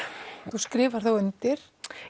þú skrifar þá undir